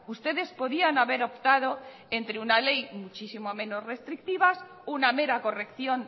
ustedes podían haber optado entre una ley muchísimo menos restrictiva una mera corrección